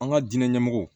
An ka diinɛ ɲɛmɔgɔw